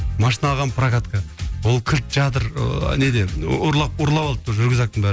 машина алғанмын прокатқа ол кілт жатыр ыыы неде ұрлап ұрлап алыпты рюкзактың бәрін